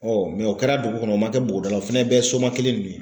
o kɛra dugu kɔnɔ o ma kɛ bɔgɔda la o fana ye bɛɛ ye soma kelen de ye.